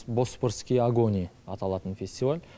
босфорские огонь аталатын фестиваль